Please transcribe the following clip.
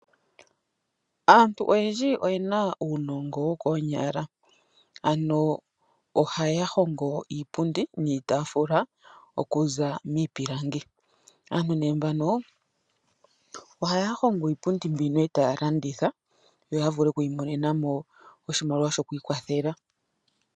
Aantu oyendji oyena uunongo wokonyala ohaya hongo iipundi niitafula okuza miipilangi. Aantu mbano ohaya hongo iipundi etaya ka landitha yo ya vule oku imonena mo oshimaliwa shoku ikwathela.